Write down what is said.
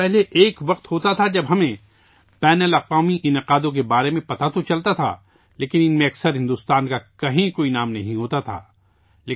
ساتھیو، پہلے ایک وقت ہوتا تھا جب ہمیں بین الاقوامی انعقاد کے بارے میں پتہ تو چلتا تھا ، لیکن ان میں اکثر بھارت کا کوئی نام نہیں ہوتا تھا